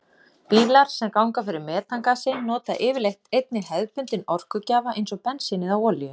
Bílar sem ganga fyrir metangasi nota yfirleitt einnig hefðbundinn orkugjafa eins og bensín eða olíu.